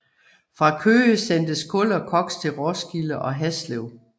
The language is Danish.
Fra Køge sendtes kul og koks til Roskilde og Haslev